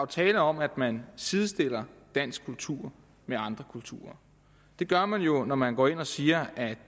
tale om at man sidestiller dansk kultur med andre kulturer det gør man jo når man går ind og siger at